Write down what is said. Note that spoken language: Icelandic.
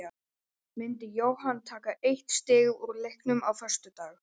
Myndi Jóhann taka eitt stig úr leiknum á föstudag?